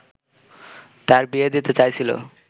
তার বিয়ে দিতে চাইছিল